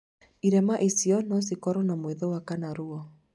irema ici no cikorwo na mwĩthũa kana ruo